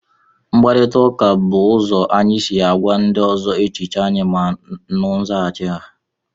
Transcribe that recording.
mkparịta ụka bụ ụzọ anyị si agwa ndị ọzọ echiche anyị ma nụ nzaghachi ha